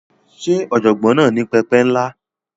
Ṣé ọ̀jọ̀gbọ́n náà ní pẹpẹ ńlá?